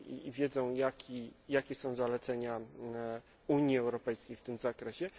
Wiedzą, jakie są zalecenia Unii Europejskiej w tym zakresie.